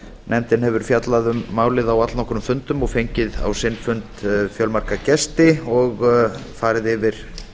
nefndin hefur fjallað um málið á allnokkrum og fengið á sinn fund fjölmarga gesti og farið yfir